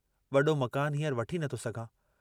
वडो मकानु हींअर वठी नथो सघां।